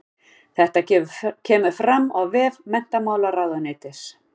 Þetta kemur fram á vef menntamálaráðuneytisins